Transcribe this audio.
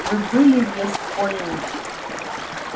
вы были в вест-поинте